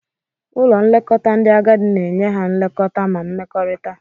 Ụlọ nlekọta ndị agadi na-enye ha nlekọta ma mmekọrịta.